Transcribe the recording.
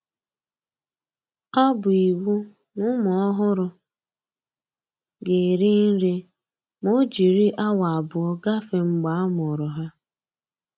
Ọ bụ iwu n'ụmụ ọhụrụ ga-eri nri ma o jiri awa abụọ gafee mgbe a mụrụ ha